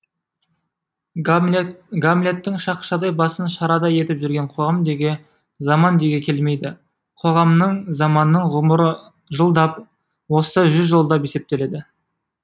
гамлеттің шақшадай басын шарадай етіп жүрген қоғам деуге заман деуге келмейді қоғамның заманның ғұмыры жылдап озса жүз жылдап есептеледі